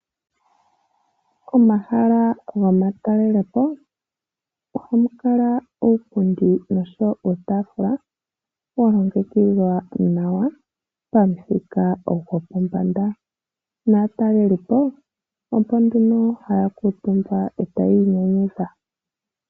Momahala gomatalelopo ohamu kala uupundi nuutaafula, wa longekidhwa nawa pamuthika gwopombanda. Naatalelipo opo nduno haya kuuntumba, e tayii nyanyudha.